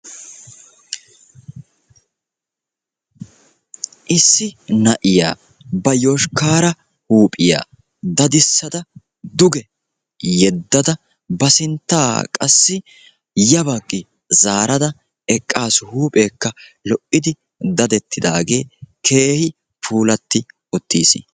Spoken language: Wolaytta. issi na'iya ba yoshkaare huuphiya dadisada duge yeddada ba sintaa qasi ya bagi zaarada eqaasu. huupheekka lo'idi daddettidaagee puulati uttiis.